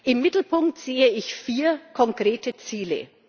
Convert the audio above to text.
Im Mittelpunkt sehe ich vier konkrete Ziele.